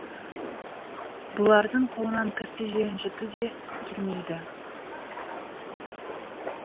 бұлардың қолынан кісі ренжіту де келмейді